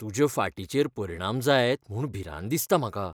तुजे फाटीचेर परिणाम जायत म्हूण भिरांत दिसता म्हाका. दोतोर